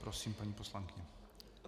Prosím, paní poslankyně.